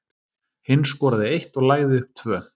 Hinn skoraði eitt og lagði upp tvö.